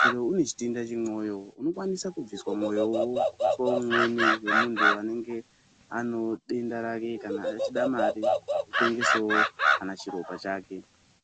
Kana une chitenda chemwoyo unokwanisa kubviswa mwoyowo woiswe umweni wemuntu anenge anewo denda rake kana achida mare wotengesawo kana chiropa chake.